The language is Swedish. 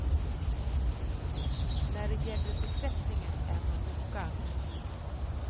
När det gäller besättningen är man noga.